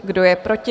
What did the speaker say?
Kdo je proti?